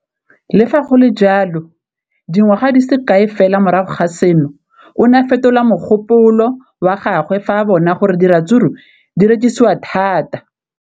Le fa go le jalo, dingwaga di se kae fela morago ga seno, o ne a fetola mogopolo wa gagwe fa a bona gore diratsuru di rekisiwa thata.